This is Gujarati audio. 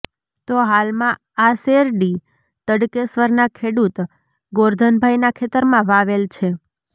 તો હાલમાં આ શેરડી તડકેશ્વરના ખેડૂત ગોરધનભાઈના ખેતરમાં વાવેલ છે